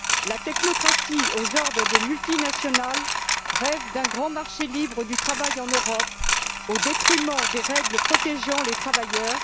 La technocratie aux ordres des multinationales rêve d'un grand marché libre du travail en Europe, au détriment des règles protégeant les travailleurs.